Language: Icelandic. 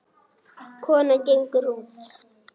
Konan gengur út.